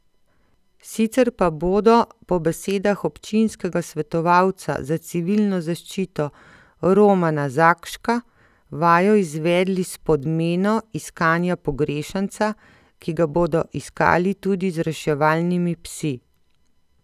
Sicer pa bodo po besedah občinskega svetovalca za civilno zaščito Romana Zakška vajo izvedli s podmeno iskanja pogrešanca, ki ga bodo iskali tudi z reševalnimi psi.